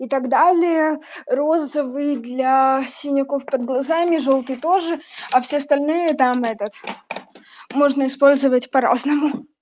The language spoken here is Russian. и так далее розовый для синяков под глазами жёлтый тоже а все остальные там этот можно использовать по-разному